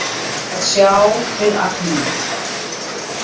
Að sjá við agninu